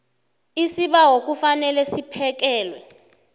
isibawo kufanele siphekelwe